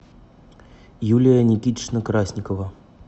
юлия никитична красникова